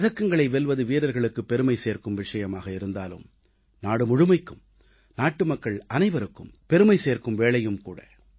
பதக்கங்களை வெல்வது வீரர்களுக்கு பெருமை சேர்க்கும் விஷயமாக இருந்தாலும் நாடு முழுமைக்கும் நாட்டு மக்கள் அனைவருக்கும் பெருமை சேர்க்கும் வேளையும் ஆகும்